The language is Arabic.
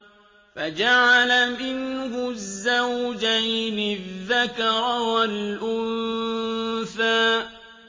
فَجَعَلَ مِنْهُ الزَّوْجَيْنِ الذَّكَرَ وَالْأُنثَىٰ